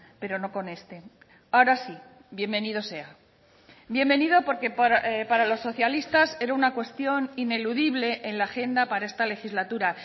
pero no con este ahora sí bienvenido sea bienvenido porque para los socialistas era una cuestión ineludible en la agenda para esta legislatura